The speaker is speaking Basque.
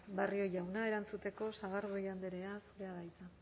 barrio jauna erantzuteko sagardui andrea zurea da hitza